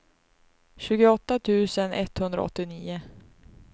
tjugoåtta tusen etthundraåttionio